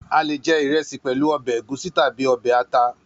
A lè je ìrẹsì pẹ̀lú ọbẹ̀ ẹ̀gúsí tàbí ọbẹ̀ ata.